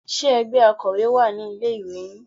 Ṣe ẹgbẹ́ Akọ́wé wà ní ilé ìwé yín?